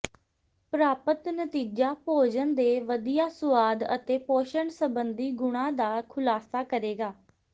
ਪ੍ਰਾਪਤ ਨਤੀਜਾ ਭੋਜਨ ਦੇ ਵਧੀਆ ਸੁਆਦ ਅਤੇ ਪੋਸ਼ਣ ਸੰਬੰਧੀ ਗੁਣਾਂ ਦਾ ਖੁਲਾਸਾ ਕਰੇਗਾ